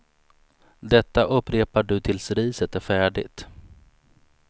Detta upprepar du tills riset är färdigt.